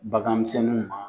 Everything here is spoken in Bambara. Baganmisɛnniw.